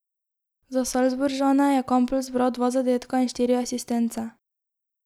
Za Salzburžane je Kampl zbral dva zadetka in štiri asistence.